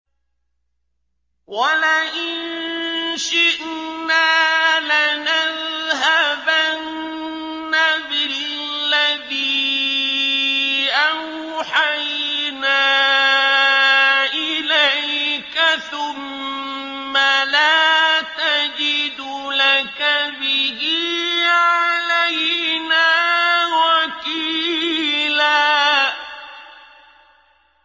وَلَئِن شِئْنَا لَنَذْهَبَنَّ بِالَّذِي أَوْحَيْنَا إِلَيْكَ ثُمَّ لَا تَجِدُ لَكَ بِهِ عَلَيْنَا وَكِيلًا